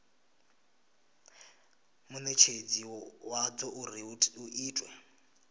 munetshedzi wadzo uri hu itwe